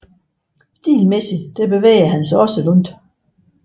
Stilmæssigt bevægede han sig også langt